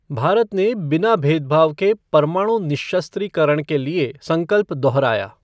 भारत ने बिना भेदभाव के परमाणु निःशस्त्रीकरण के लिए संकल्प दोहराया।